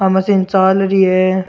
आ मशीन चाल री है।